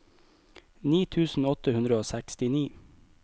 ni tusen åtte hundre og sekstini